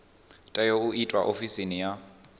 tea u itwa ofisini ya